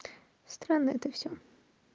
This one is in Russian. странно это все